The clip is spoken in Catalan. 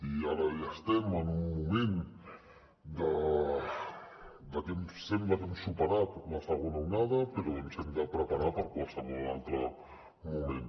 i ara ja estem en un moment que ens sembla que hem superat la segona onada però ens hem de preparar per a qualsevol altre moment